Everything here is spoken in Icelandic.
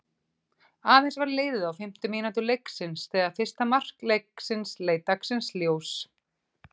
Aðeins var liðið á fimmtu mínútu leiksins þegar fyrsta mark leiksins leit dagsins ljós.